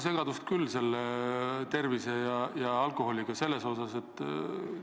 Tegelikult on selle rahva tervise ja alkoholi seose osas ikkagi segadus.